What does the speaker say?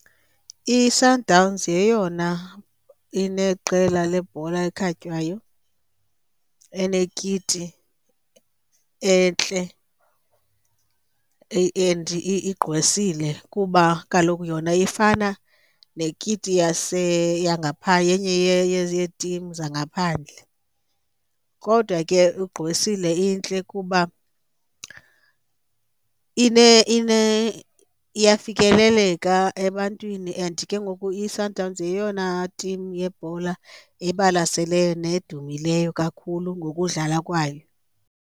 ISundowns yeyona ineqela lebhola ekhatywayo enekiti entle and igqwesile kuba kaloku yona ifana nekiti yenye yeetimu zangaphandle kodwa ke ugqwesile intle kuba iyafikeleleka ebantwini. And ke ngoku iSundowns yeyona timu yebhola ebalaseleyo nedumileyo kakhulu ngokudlala kwayo.